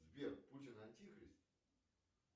сбер путин антихрист